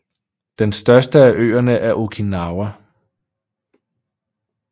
Den største af øerne er Okinawa